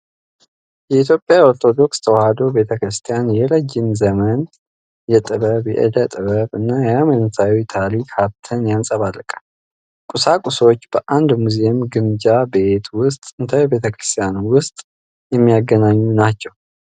የኢትዮጵያ ኦርቶዶክስ ተዋሕዶ ቤተ ክርስቲያን የረጅም ዘመን የጥበብ፣ የዕደ-ጥበብ እና የሃይማኖታዊ ታሪክ ሀብትን ያንፀባርቃል። ቁሳቁሶቹ በአንድ ሙዚየም፣ ግምጃ ቤት ወይም ጥንታዊ ቤተ ክርስቲያን ውስጥ የሚገኙናቸው።